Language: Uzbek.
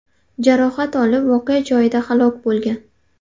jarohat olib, voqea joyida halok bo‘lgan.